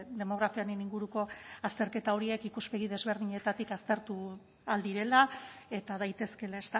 demografiaren inguruko azterketa horiek ikuspegi desberdinetatik aztertu ahal direla eta daitezkeela